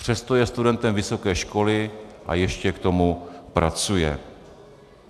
Přesto je studentem vysoké školy a ještě k tomu pracuje.